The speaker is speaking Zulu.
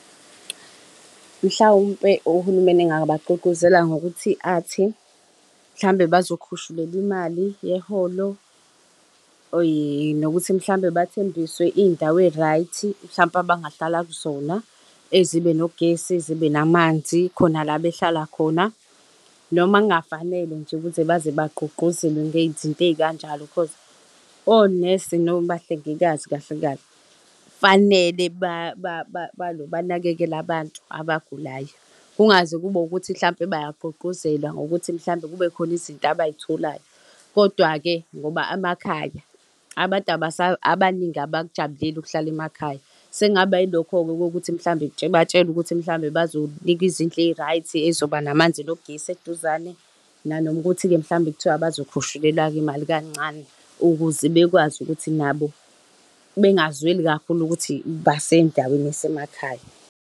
Mhlawumpe ohulumeni engabagqugquzela ngokuthi athi hlambe bazokhushulelwa imali yeholo or nokuthi mhlawumbe bathembiswe izindawo ezi-right, mhlampe abangahlala kuzona ezibe nogesi zibe namanzi khona la behlala khona. Noma kungafanele nje ukuze baze bagqugquzelwe ngezinto ezikanjalo cause onesi, nobahlengikazi kahle kahle fanele balo banakekele abantu abagulayo kungaze kube ukuthi mhlampe bayayigqugquzelwa ngokuthi mhlawumbe kube khona izinto abayitholayo. Kodwa-ke ngoba emakhaya, abantu abaningi abakujabuleli ukuhlala emakhaya. Sekungaba yilokho-ke kokuthi mhlambe batshelwe ukuthi mhlawumbe bazonikwa izindlu ezi-right ey'zoba namanzi nogesi eduzane nanoma ukuthi-ke mhlawumbe kuthiwa bazokhushulelwa-ke imali kancane ukuze bekwazi ukuthi nabo bengazweli kakhulu ukuthi basendaweni esemakhaya.